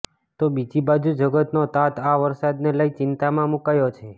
તો બીજી બાજુ જગતનો તાત આ વરસાદને લઈ ચિંતામાં મૂકાયો છે